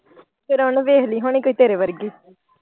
ਫੇਰ ਓਹਨੇ ਵੇਖਲੀ ਹੋਣੀ ਕੋਈ ਤੇਰੇ ਵਰਗੀ।